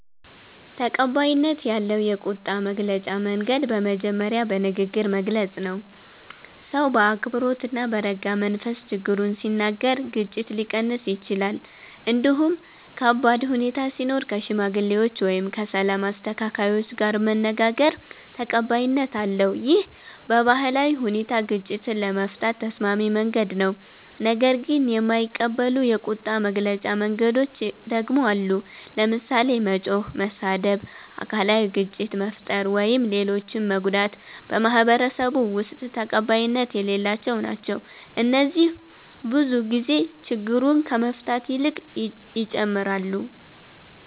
ተቀባይነት ያለው የቁጣ መግለጫ መንገድ በመጀመሪያ በንግግር መግለጽ ነው። ሰው በአክብሮት እና በረጋ መንፈስ ችግሩን ሲናገር ግጭት ሊቀንስ ይችላል። እንዲሁም ከባድ ሁኔታ ሲኖር ከሽማግሌዎች ወይም ከሰላም አስተካካዮች ጋር መነጋገር ተቀባይነት አለው። ይህ በባህላዊ ሁኔታ ግጭትን ለመፍታት ተስማሚ መንገድ ነው። ነገር ግን የማይቀበሉ የቁጣ መግለጫ መንገዶች ደግሞ አሉ። ለምሳሌ መጮህ፣ መሳደብ፣ አካላዊ ግጭት መፍጠር ወይም ሌሎችን መጎዳት በማህበረሰቡ ውስጥ ተቀባይነት የሌላቸው ናቸው። እነዚህ ብዙ ጊዜ ችግሩን ከመፍታት ይልቅ ይጨምራሉ